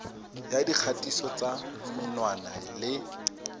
ya dikgatiso tsa menwana le